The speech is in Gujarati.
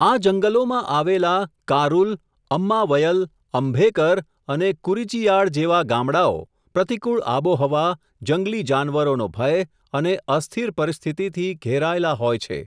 આ જંગલોમાં આવેલા, કારુલ, અમ્માવયલ, અંભેકર અને કુરીચિયાડ જેવા ગામડાંઓ, પ્રતિકૂળ આબોહવા, જંગલી જાનવરોનો ભય, અને, અસ્થિર પરિસ્થિતિથી, ઘેરાયેલા હોય છે.